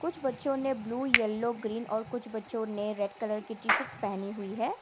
कुछ बच्चों ने ब्ल्यू येलो ग्रीन और कुछ बच्चों ने रेड कलर की टी शर्ट्स पहनी हुई है।